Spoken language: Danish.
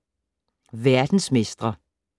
Verdensmestre